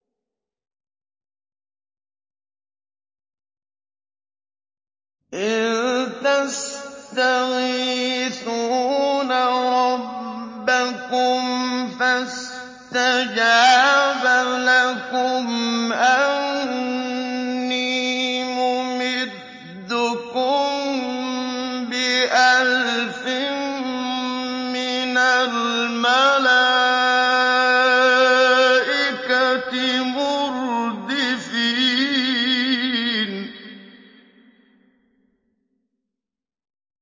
إِذْ تَسْتَغِيثُونَ رَبَّكُمْ فَاسْتَجَابَ لَكُمْ أَنِّي مُمِدُّكُم بِأَلْفٍ مِّنَ الْمَلَائِكَةِ مُرْدِفِينَ